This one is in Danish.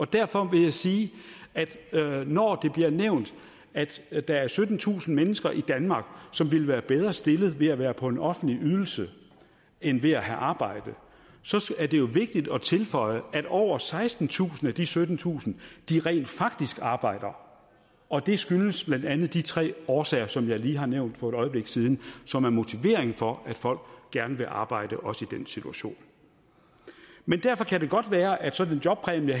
derfor vil jeg sige at når det bliver nævnt at at der er syttentusind mennesker i danmark som ville være bedre stillet ved at være på en offentlig ydelse end ved at have arbejde så så er det jo vigtigt at tilføje at over sekstentusind af de syttentusind rent faktisk arbejder og det skyldes blandt andet de tre årsager som jeg lige har nævnt for et øjeblik siden som er motiveringen for at folk gerne vil arbejde også i den situation men derfor kan det godt være at sådan en jobpræmie